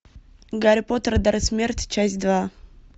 гарри поттер и дары смерти часть два